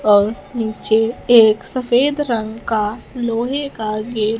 और नीचे एक सफेद रंग का लोहे का गेट --